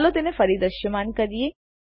ચાલો તેને ફરી દ્રશ્યમાન કરીએ